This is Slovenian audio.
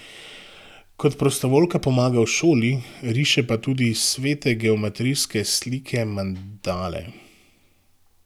Kot prostovoljka pomaga v šoli, riše pa tudi svete geometrijske slike, mandale.